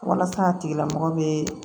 Walasa a tigi lamɔgɔ bɛ